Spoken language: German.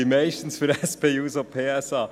Meistens für die SP-JUSO-PSA.